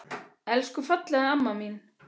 Elsku fallega amma mín.